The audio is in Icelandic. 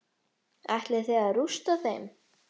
Ætlið þið að rústa þeim?